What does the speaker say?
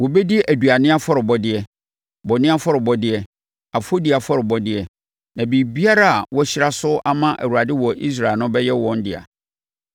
Wɔbɛdi aduane afɔrebɔdeɛ, bɔne afɔrebɔdeɛ, afɔdie afɔrebɔdeɛ, na biribiara a wɔahyira so ama Awurade wɔ Israel no bɛyɛ wɔn dea.